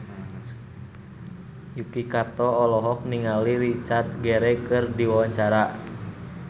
Yuki Kato olohok ningali Richard Gere keur diwawancara